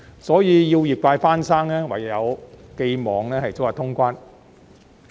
所以，要業界復生，唯有寄望早日通關。